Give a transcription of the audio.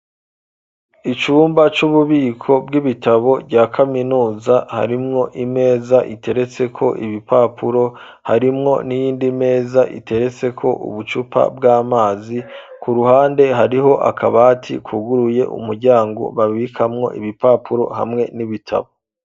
Icumba c'ububiko bw'ibitabo rya kaminuza harimwo imeza iteretseko ibipapuro harimwo n'iyindi meza iteretseko ubucupa bw'amazi ku ruhande hariho akabati kuguruye umuryango babikamwo ibipapuro hamwe n'ibitabo.